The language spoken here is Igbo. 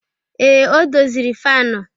Ee, o doziri fanu